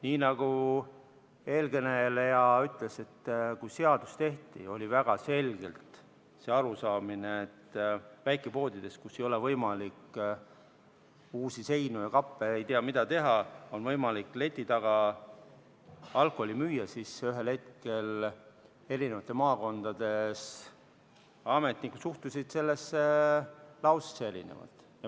Nii nagu eelkõneleja ütles, et kui seadust tehti, oli väga selgelt see arusaam, et väikepoodides, kus ei ole võimalik uusi seinu, kappe ja ei tea mida teha, on võimalik leti taga alkoholi müüa, aga ühel hetkel maakondades ametnikud suhtusid sellesse lausesse erinevalt.